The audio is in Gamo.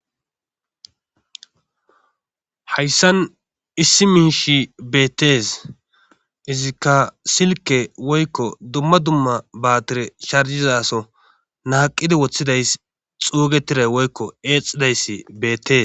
hayssan issi miishi beetes izikka silke woykko dumma dumma baatire charjizaso naaqidi woththidayss xuugetira woykko eexxidayssi beete